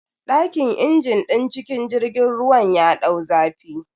Dakin injin din cikin jirgin ruwan ya dau zafi.